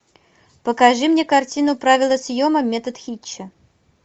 покажи мне картину правила съема метод хитча